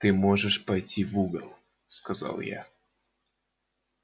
ты можешь пойти в угол сказал я